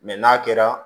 n'a kɛra